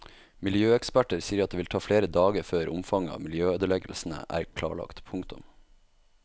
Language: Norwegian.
Miljøeksperter sier at det vil ta flere dager før omfanget av miljøødeleggelsene er klarlagt. punktum